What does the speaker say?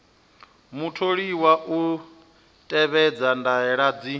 mutholiwa u tevhedza ndaela dzi